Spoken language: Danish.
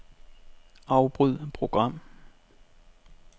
Afbryd program.